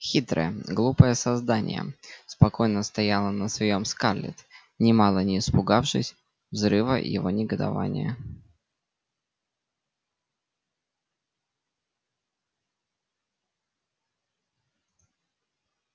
хитрое глупое создание спокойно стояла на своём скарлетт нимало не испугавшись взрыва его негодования